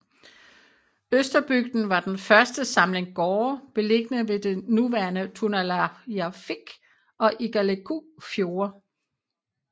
Østerbygden var den første samling gårde beliggende ved det nuværende Tunulliarfik og Igaliku Fjorde